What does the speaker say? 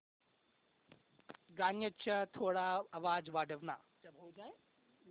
गाण्याचा थोडा आवाज वाढव ना